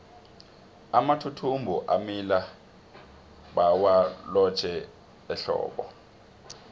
amathuthumbo amila bawalotjhe ehlobo